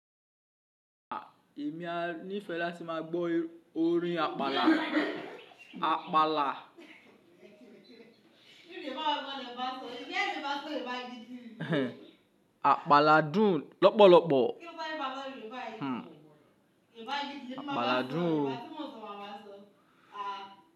À, èmi a nífẹ̀ẹ́ láti máa gbọ́ orin àpàlà. Àpàlà. Àpàlà dùn lọ́pọ̀lọpọ̀, àpàlà dùn o.